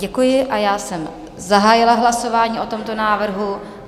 Děkuji a já jsem zahájila hlasování o tomto návrhu.